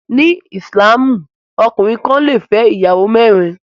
Ní ìsìlámù, ọkùnrin kan lè fẹ́ ìyàwó mẹ́rin